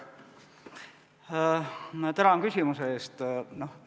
Tänan küsimuse eest!